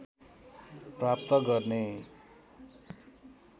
प्राप्त गर्ने